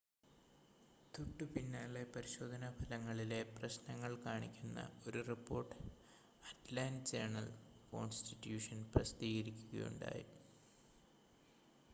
തൊട്ടുപിന്നാലെ പരിശോധനാ ഫലങ്ങളിലെ പ്രശ്നങ്ങൾ കാണിക്കുന്ന ഒരു റിപ്പോർട്ട് അറ്റ്ലാൻ്റ ജേണൽ-കോൺസ്റ്റിറ്റ്യൂഷൻ പ്രസിദ്ധീകരിക്കുകയുണ്ടായി